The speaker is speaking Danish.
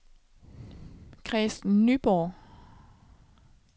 Kristen Nyborg